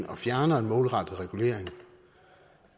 og fjerner en målrettet regulering